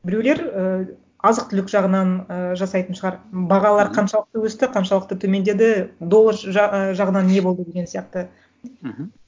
біреулер ііі азық түлік жағынан ыыы жасайтын шығар бағалар қаншалықты өсті қаншалықты төмендеді доллар і жағынан не болды деген сияқты мхм